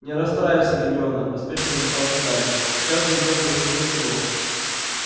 не расстраивайся гермиона поспешно вмешался гарри сейчас же идём в больничное крыло